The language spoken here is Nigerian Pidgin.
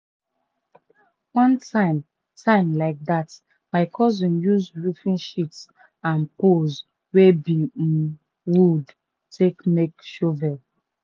one time time like dat my cousin use roofing sheets and poles wey be um wood take make shovel.